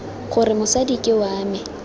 gore mosadi ke wa me